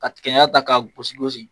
Ka tigɛ ɲaga ta k'a gosi gosi.